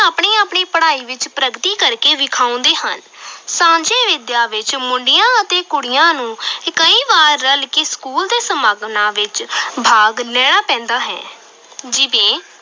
ਆਪਣੀ-ਆਪਣੀ ਪੜਾਈ ਵਿਚ ਪ੍ਰਗਤੀ ਕਰ ਕੇ ਵਿਖਾਉਂਦੇ ਹਨ ਸਾਂਝੀ ਵਿਦਿਆ ਵਿਚ ਮੁੰਡਿਆਂ ਅਤੇ ਕੁੜੀਆਂ ਨੂੰ ਕਈ ਵਾਰ ਰਲ ਕੇ school ਦੇ ਸਮਾਗਮਾਂ ਵਿਚ ਭਾਗ ਲੈਣਾ ਪੈਂਦਾ ਹੈ ਜਿਵੇਂ